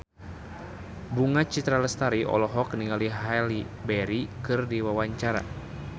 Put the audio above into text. Bunga Citra Lestari olohok ningali Halle Berry keur diwawancara